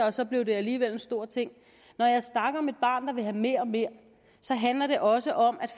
og så blev det alligevel en stor ting når jeg snakker om et barn der vil have mere og mere handler det også om at